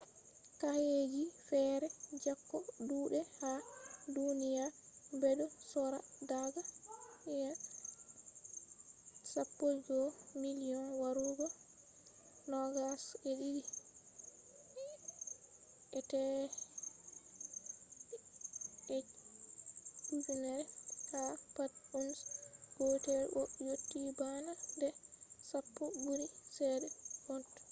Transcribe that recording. kaeji fere jeko dudai ha duniya, bedo sorra daga us$11,000 warugo $22,500 ha pat ounce gotel bo yotti bana de sappo buri chede gold